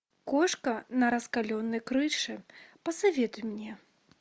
кошка на раскаленной крыше посоветуй мне